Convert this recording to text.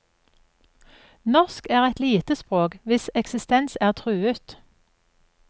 Norsk er et lite språk hvis eksistens er truet.